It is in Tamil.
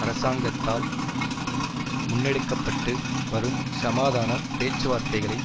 அரசாங்கத்தால் முன்னெடுக்க பட்டு வரும் சமாதான பேச்சுவார்த்தைகளை